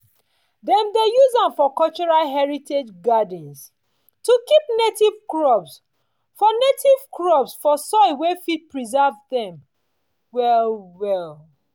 dem dey use am for cultural heritage gardens to keep native crops for native crops for soil wey fit preserve dem well-well.